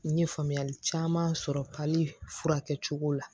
N ye faamuyali caman sɔrɔ furakɛ cogo la